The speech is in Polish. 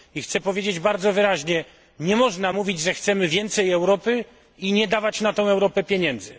Chciałbym powiedzieć bardzo wyraźnie, że nie można mówić, że chcemy więcej Europy i nie dawać na Europę pieniędzy.